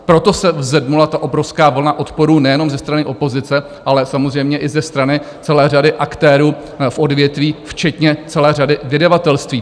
Proto se vzedmula ta obrovská vlna odporu nejenom ze strany opozice, ale samozřejmě i ze strany celé řady aktérů v odvětví, včetně celé řady vydavatelství.